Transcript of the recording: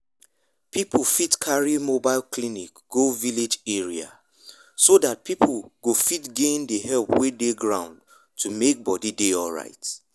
people fit carry mobile clinic go village area so that people go fit gain the help wey dey ground to make body dey alright